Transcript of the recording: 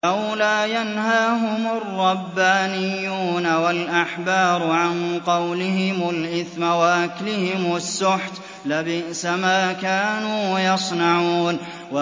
لَوْلَا يَنْهَاهُمُ الرَّبَّانِيُّونَ وَالْأَحْبَارُ عَن قَوْلِهِمُ الْإِثْمَ وَأَكْلِهِمُ السُّحْتَ ۚ لَبِئْسَ مَا كَانُوا يَصْنَعُونَ